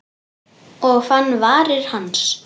Og fann varir hans.